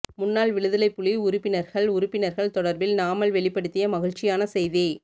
முன்னாள் விடுதலை புலி உறுப்பினர்கள் உறுப்பினர்கள் தொடர்பில் நாமல் வெளிப்படுத்திய மகிழ்ச்சியான செய்தி